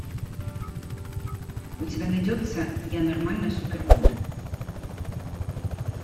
у тебя найдется я нормально супер гуд